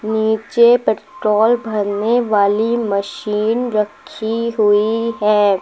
नीचे पेट्रोल भरने वाली मशीन रखी हुई है।